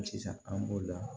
Sisan an b'o la